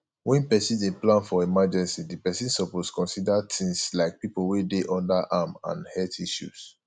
when person dey plan for emergecy di person suppose consider things like pipo wey dey under am and health issue